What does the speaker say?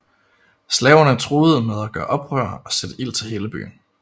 Slaverne truede med at gøre oprør og sætte ild til hele byen